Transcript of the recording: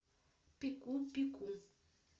пеку пеку